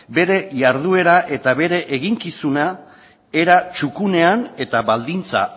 bere jarduera eta bere eginkizuna era txukunean eta baldintza